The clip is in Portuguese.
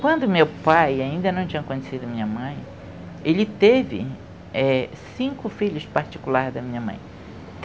Quando meu pai, ainda não tinha conhecido minha mãe, ele teve cinco filhos particulares da minha mãe.